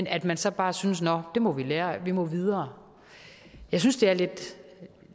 at man så bare synes nå det må vi lære af vi må videre jeg synes det er meget lidt